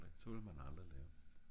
så ville man aldrig lære